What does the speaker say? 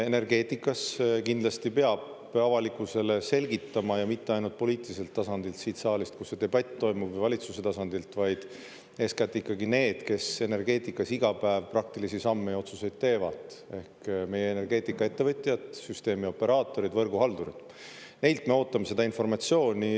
Energeetikas kindlasti peab avalikkusele selgitama, ja mitte ainult poliitiliselt tasandilt, siit saalist, kus see debatt toimub, või valitsuse tasandilt, vaid eeskätt ikkagi need, kes energeetikas iga päev praktilisi samme ja otsuseid teevad, ehk meie energeetikaettevõtjad, süsteemioperaatorid, võrguhaldurid – neilt me ootame seda informatsiooni.